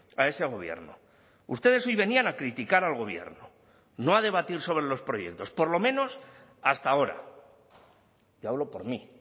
a ese gobierno ustedes hoy venían a criticar al gobierno no a debatir sobre los proyectos por lo menos hasta ahora y hablo por mí